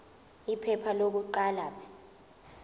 iphepha lokuqala p